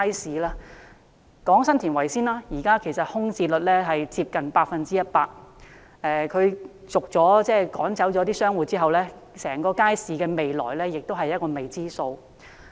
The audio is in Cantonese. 先談談前者，現時新田圍街市的空置率接近 100%， 商戶被趕走之後，整個街市的未來是未知數。